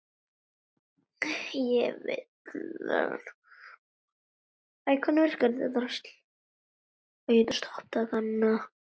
Ég vil þetta.